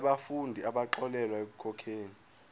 yabafundi abaxolelwa ekukhokheni